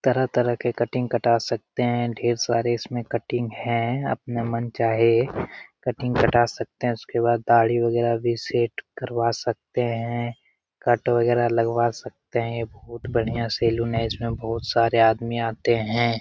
तरह-तरह के कटिंग कटा सकते हैं। ढेर सारे इसमें कटिंग है। अपने मन चाहे कटिंग कटा सकते हैं। उसके बाद ढाढ़ी वगैरह भी सेट करवा सकते हैं कट वगैरह लगवा सकते हैं। बहुत बढ़िया सैलून है। इसमें बहुत सारे आदमी आते हैं।